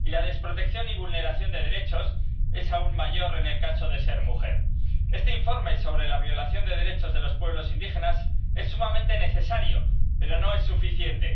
Y la desprotección y vulneración de derechos es aún mayor en el caso de ser mujer. Este informe sobre la violación de derechos de los pueblos indígenas es sumamente necesario, pero no es suficiente.